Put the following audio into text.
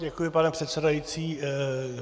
Děkuji, pane předsedající.